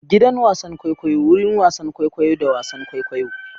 Gidan wasan kwaikwayo: wurin wasan kwaikwayo da wasan kwaikwayo.